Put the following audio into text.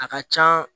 A ka can